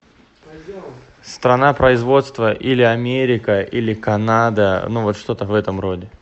страна производства или америка или канада ну вот что то в этом роде